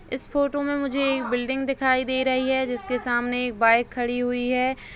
इस फोटो मे मुझे एक बिल्डिंग दिखाई दे रही है जिसके सामने एक बाइक खड़ी हुई है।